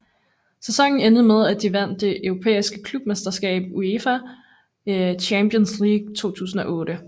Sæsonen endte med at de vandt det europæiske klubmesterskab UEFA Champions League 2008